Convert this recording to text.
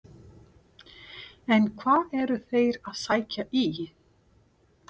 En hvað eru þeir að sækja í?